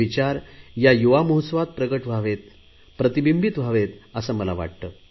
ते विचार या युवा महोत्सवात प्रकट व्हावेत प्रतिबिंबित व्हावेत असे मला वाटते